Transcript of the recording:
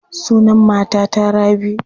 Sunan matata Rabi.